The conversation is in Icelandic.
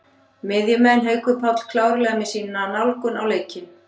Miðjumenn: Haukur Páll klárlega með sína nálgun á leikinn.